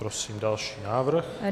Prosím další návrh.